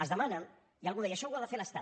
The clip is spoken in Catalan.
es demana i algú deia això ho ha de fer l’estat